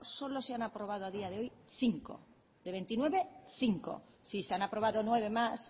solo se han aprobado a día de hoy cinco de veintinueve cinco sí se han aprobado nueve más